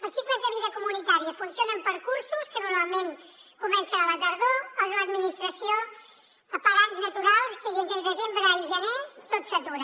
els cicles de vida comunitària funcionen per cursos que normalment comencen a la tardor els de l’administració per anys naturals i entre desembre i gener tot s’atura